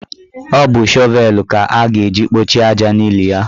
Ọ bụ shọvelu ka a ga-eji kpọchie aja n'ili ya.